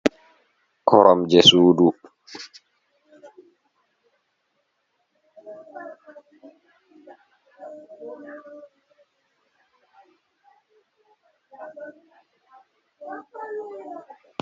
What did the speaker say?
Koram je sudu.